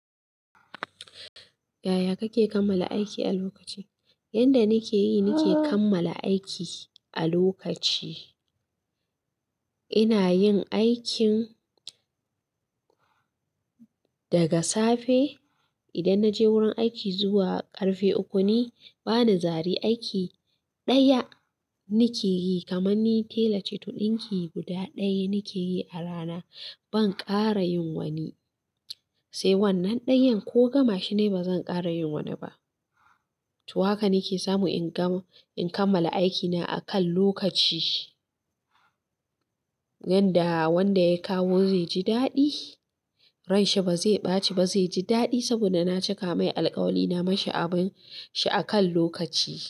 Yaya kake kammala aiki a lokaci? Yanda nake yi nake kammala aiki a lokaci, ina yin aikin daga safe idan naje wurin aiki zuwa ƙarfe uku ne. Bana zari aiki, ɗaya na ke yi kamar ni tela ce, to ɗinki guda ɗaya na ke yi a rana. Ban ƙara yin wani, sai wannan ɗayan ko gama shi nayi ba zan ƙara yin wani ba. To haka nike samu in kammala aikina a kan lokaci. Yanda wanda ya kawo zai ji daɗi, ranshi ba zai ɓaci ba, zai ji daɗi saboda na cika mai alkawari na mishi abin shi a kan lokaci.